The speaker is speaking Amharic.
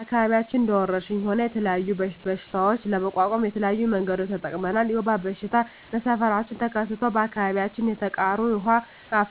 በአከባቢያችን እንደ ወረርሽኝ ሆነ የተለያዩ በሽታዎች ለመቋቋም የተለያዩ መንገዶችን ተጠቅመናል የወባ በሽታ በሠፈራችን ተከስቶ በአካባቢያችን የተቃሩ የዉሃ